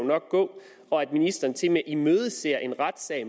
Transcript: gå og at ministeren tilmed med imødeser en retssag